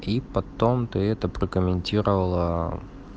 и потом ты это прокомментировала